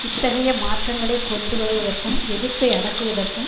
இத்தகைய மாற்றங்களை கொண்டு வருவதற்கும் எதிர்ப்பை அடக்குவதற்கும்